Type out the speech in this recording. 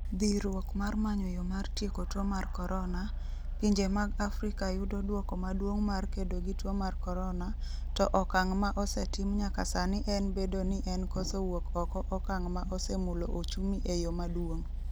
Dhirruok mar manyo yo mar tieko tuo mar korona, Pinje mag Afrika yudo duoko maduong' mar kedo gi tuo mar corona, to okang' ma osetim nyaka sani en bedo nien koso wuok oko okang' ma osemulo ochumi e yo maduong'.